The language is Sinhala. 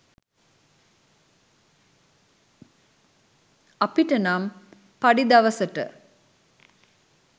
අපිට නමි පඞි දවසට